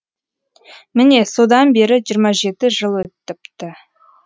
міне содан бері жиырма жеті жыл өт іпті